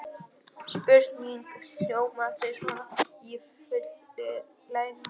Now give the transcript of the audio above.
Spurningin hljómaði svona í fullri lengd: